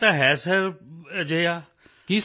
ਹਾਂ ਸੁਣਿਆ ਤਾਂ ਹੈ ਸਰ ਅਜਿਹਾ